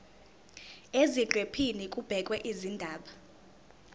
eziqephini kubhekwe izindaba